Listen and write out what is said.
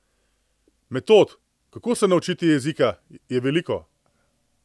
Metod, kako se naučiti jezika, je veliko.